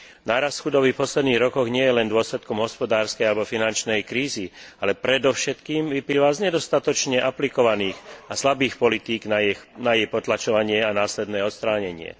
Nárast chudoby v posledných rokoch nie je len dôsledkom hospodárskej alebo finančnej krízy, ale predovšetkým vyplýva z nedostatočne aplikovaných a slabých politík na jej potlačovanie a následné odstránenie.